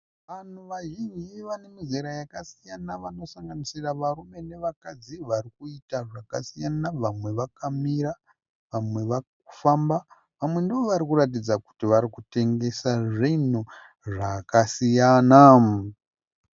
Vanhu vazhinji vane mizera yakasiyana vanosanganisira varume nevakadzi varikuita zvakasiyana vamwe vakamira vamwe vari kufamba vamwe ndivo vari kuratidza kuti vari kutengesa zvinhu zvakasiyana.